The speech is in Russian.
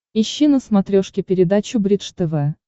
ищи на смотрешке передачу бридж тв